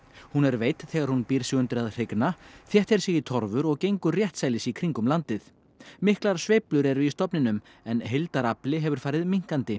hún er veidd þegar hún býr sig undir að hrygna þéttir sig í torfur og gengur réttsælis í kringum landið miklar sveiflur eru í stofninum en heildarafli hefur farið minnkandi